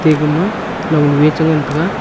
egama long nue chengan taiga.